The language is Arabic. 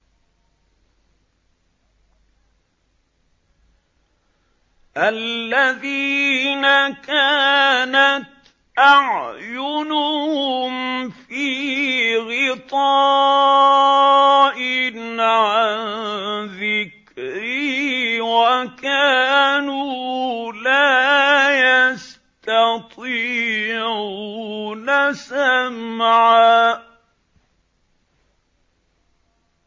الَّذِينَ كَانَتْ أَعْيُنُهُمْ فِي غِطَاءٍ عَن ذِكْرِي وَكَانُوا لَا يَسْتَطِيعُونَ سَمْعًا